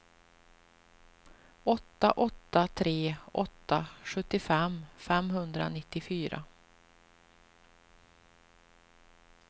åtta åtta tre åtta sjuttiofem femhundranittiofyra